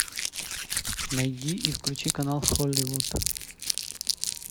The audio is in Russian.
найди и включи канал холливуд